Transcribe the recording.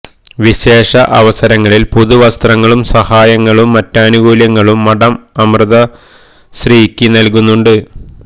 വിശേഷ അവസരങ്ങളിൽ പുതു വസ്ത്രങ്ങളും സഹായങ്ങളും മറ്റാനുകൂല്യങ്ങളും മഠം അമൃതശ്രീയ്ക്ക് നൽകുന്നുണ്ട്